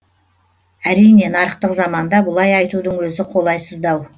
әрине нарықтық заманда бұлай айтудың өзі қолайсыздау